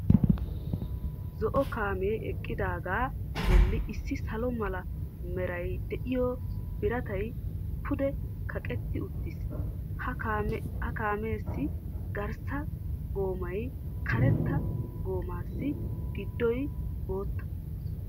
Zo"o kaamee eqidaaga bolli issi salo mala meray de'iyo biratay pude kaqqetti uttiis. Ha kaameessi garssa goommay karetta goommaassi giddoy bootta.